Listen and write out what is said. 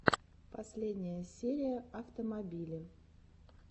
последняя серия автомобили